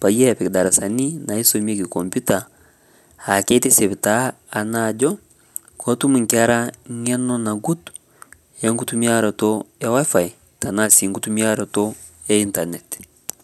peyie epik darasani naisumieki computer aakitisip taa ajo ketum nkera nkeno nagut enkitumiarato e wifi naa sii nkitimirayato e internet